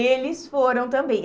Eles foram também.